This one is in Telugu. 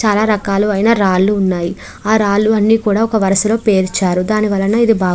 చాలా రకాలు అయిన రాళ్లు ఉన్నాయి. ఆ రాళ్లు అన్ని కూడా ఒక వరుసలో పేరుచ్చారు దాని వలన ఇది --